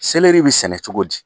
bi sɛnɛ cogo di ?